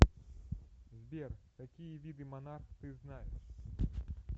сбер какие виды монарх ты знаешь